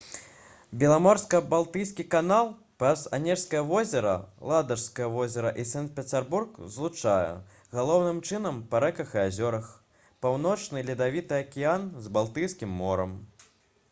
беламорска-балтыйскі канал праз анежскае возера ладажскае возера і санкт-пецярбург злучае галоўным чынам па рэках і азёрах паўночны ледавіты акіян з балтыйскім морам